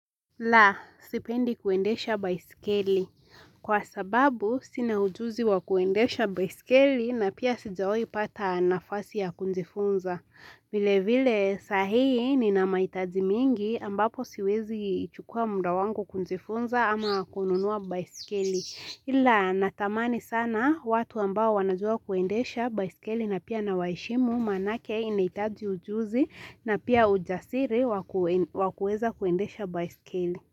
La, sipendi kuendesha baisikeli. Kwa sababu, sina ujuzi wa kuendesha baisikeli na pia sijawai pata nafasi ya kunjifunza. Vile vile saa hii nina mahitaji mingi ambapo siwezi chukua muda wangu kujifunza ama kununua baisikeli. Ila natamani sana watu ambao wanajua kuendesha byaiskeli na pia na waheshimu manake inahitaji ujuzi na pia ujasiri wa kueza kuendesha baiskeli.